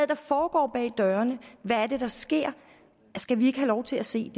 der foregår bag dørene hvad er det der sker skal vi ikke have lov til at se